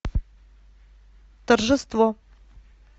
торжество